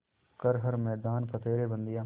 कर हर मैदान फ़तेह रे बंदेया